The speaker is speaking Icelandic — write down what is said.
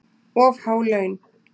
Of há laun